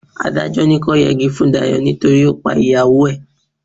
Adájọ́ ní kọ́ yẹgi fún Dayọ̀ nítorí ó pa ìyàwó ẹ̀.